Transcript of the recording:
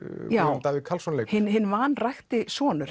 Jón Davíð Karlsson leikur já hinn vanrækti sonur